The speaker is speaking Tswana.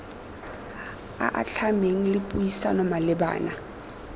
a atlhameng le puisano malebana